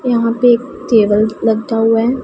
यहां पे एक टेबल लता हुआ है।